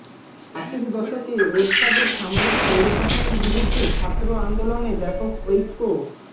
আশির দশকে এরশাদের সামরিক স্বৈরশাসনের বিরুদ্ধে ছাত্র আন্দোলনে ব্যাপক ঐক্য